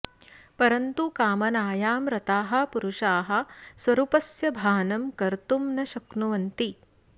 परन्तु कामनायां रताः पुरुषाः स्वरूपस्य भानं कर्तुं न शक्नुवन्ति